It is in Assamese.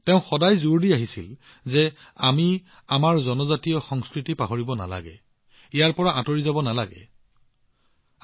তেওঁ সদায় এইবুলি গুৰুত্ব আৰোপ কৰিছিল যে আমি আমাৰ জনজাতীয় সংস্কৃতিক পাহৰিব নালাগে আমি ইয়াৰ পৰা একেবাৰে দূৰলৈ আঁতৰি যোৱা উচিত নহয়